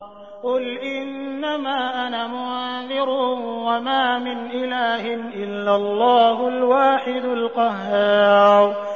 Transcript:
قُلْ إِنَّمَا أَنَا مُنذِرٌ ۖ وَمَا مِنْ إِلَٰهٍ إِلَّا اللَّهُ الْوَاحِدُ الْقَهَّارُ